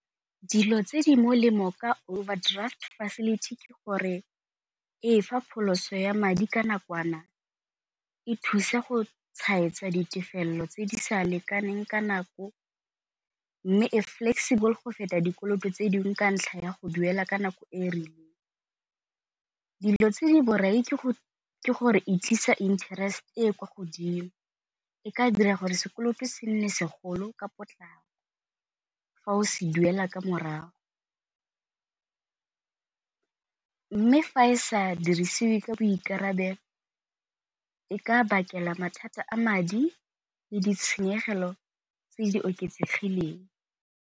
Dilo tse di molemo ka overdraft facility ke gore e fa pholoso ya madi ka nakwana, e thusa go tshwaetsa ditefelelo tse di sa lekaneng ka nako, mme e flexible go feta dikoloto tse dingwe ka ntlha ya go duela ka nako e rileng. Dilo tse di borai ke gore e tlisa interest e e kwa godimo, e ka dira gore sekoloto se nne segolo ka potlako fa o se duela ka morago, mme fa e sa dirisiwe ka boikarabelo e ka bakela mathata a madi le ditshenyegelo tse di oketsegileng.